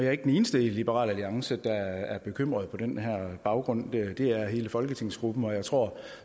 er ikke den eneste i liberal alliance der er bekymret på den her baggrund det er hele folketingsgruppen og jeg tror